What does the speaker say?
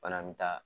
Fana bɛ taa